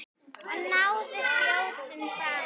Og náði skjótum frama.